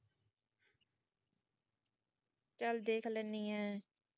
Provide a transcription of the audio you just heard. ਚੱਲ ਦੇਖ ਲੈਨੀ ਐਂ